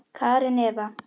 Karen Eva.